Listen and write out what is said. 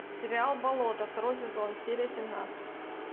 сериал болото второй сезон серия семнадцать